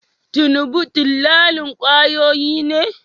Tinubu dillalin kwayoyi ne?